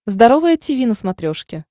здоровое тиви на смотрешке